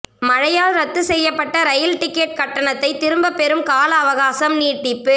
மழையால் ரத்து செய்யப்பட்ட ரயில் டிக்கெட் கட்டணத்தை திரும்பப் பெறும் கால அவகாசம் நீட்டிப்பு